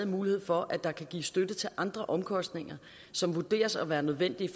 mulighed for at der kan gives støtte til andre omkostninger som vurderes at være nødvendige